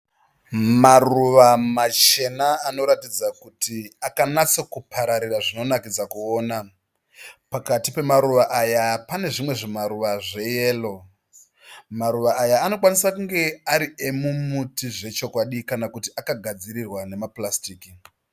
Maruva machena anoratidza kuti akanatsokupararira zvinonakidza kuona. Pakati pemaruwa aya pane zvimwe zvimaruwa zve yero. Maruva aya anokwanisa kunge ari emumuti zvechokwadi kana kuti akagadzirwa nema paurasitiki.